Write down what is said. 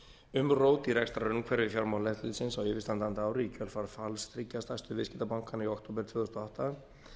umrót í rekstrarumhverfi fjármálaeftirlitsins á yfirstandandi ári í kjölfar falls þriggja stærstu viðskiptabankanna í október tvö þúsund og átta